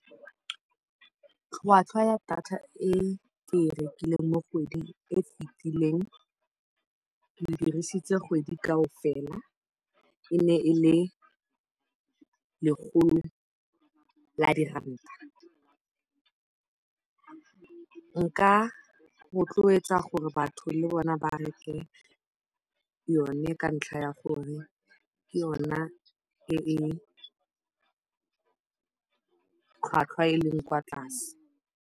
Tlhwatlhwa ya data e ke e rekileng mo kgweding e e fetileng, ke e dirisitse kgwedi kaofela, e ne e le lekgolo la diranta. Nka rotloetsa gore batho le bona ba reke yone ka ntlha ya gore ke yona e e tlhwatlhwa eleng kwa tlase.